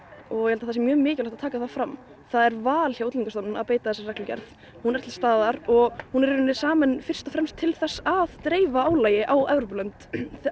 og ég held að það sé mjög mikilvægt að taka það fram það er val hjá Útlendingastofnun að beita þessari reglugerð hún er til staðar og hún er hún er samin fyrst og fremst til þess að dreifa álagi á Evrópulönd